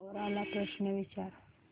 कोरा ला प्रश्न विचार